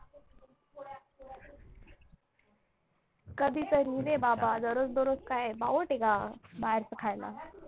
कधीतरी रे बाबा दररोज बावळट आहे का बाहेरचा खायला.